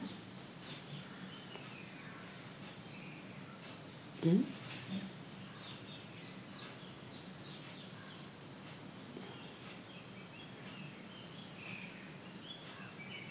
अं